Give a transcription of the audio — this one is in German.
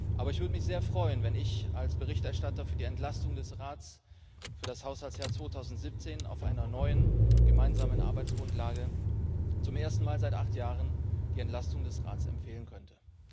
Aber ich würde mich sehr freuen, wenn ich als Berichterstatter für die Entlastung des Rats für das Haushaltsjahr 2017 auf einer neuen gemeinsamen Arbeitsgrundlage zum ersten Mal seit acht Jahren die Entlastung des Rats empfehlen könnte.